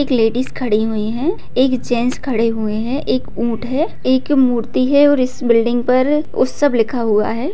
एक लेडीजस खड़ी हुई है एक जेंट्स खडे हुए है एक ऊंट है एक मूर्ति है और इस बिल्डिंग पर उत्सव लिखा हुआ हैं।